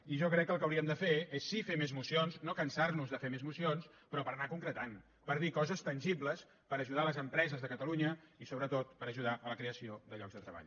i jo crec que el que hauríem de fer és sí fer més mocions no cansar nos de fer més mocions però per anar concretant per dir coses tangibles per ajudar les empreses de catalunya i sobretot per ajudar a la creació de llocs de treball